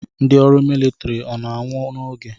Ndị ọrụ militiri ọ na-anwụ n'oge?